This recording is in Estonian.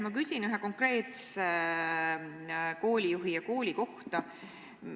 Ma küsin ühe konkreetse koolijuhi ja kooli kohta.